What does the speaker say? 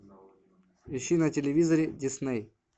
ищи на телевизоре дисней